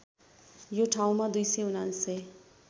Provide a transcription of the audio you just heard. यो ठाउँमा २९९